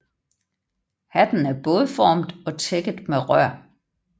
Hatten er bådformet og tækket med rør